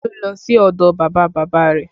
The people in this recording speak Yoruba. Olú lọ sí ọdọ bàbá bàbá rẹ̀